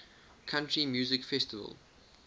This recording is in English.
country music festival